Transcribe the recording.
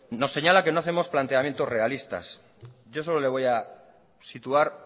nos señala que no hacemos planteamientos realistas yo solo le voy a situar